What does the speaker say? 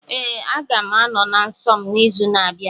Ee, aga m anọ na nsọ m n'izu na-abịa.